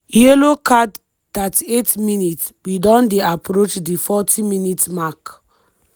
yellow card 38mins- we don dey approach di forty minute mark.